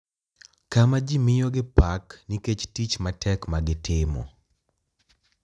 Kama ji miyogi pak nikech tich matek ma gitimo.